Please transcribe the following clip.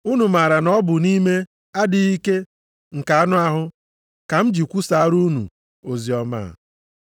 Unu maara na ọ bụ nʼime adịghị ike nke anụ ahụ ka m ji kwusaara unu oziọma a.